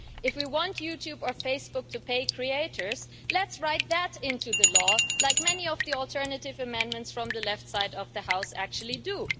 If we want YouTube or Facebook to pay creators, let's write that into the law, as many of the alternative amendments from the left side of the House actually do.